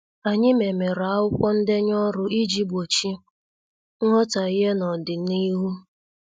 Anyị memere akwụkwọ ndenye ọrụ iji gbochie nghotaghie n' odina ihu.